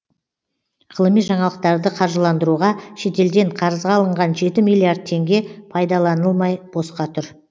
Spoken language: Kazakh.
ғылыми жаңалықтарды қаржыландыруға шетелден қарызға алынған жеті миллиард теңге пайдаланылмай босқа тұр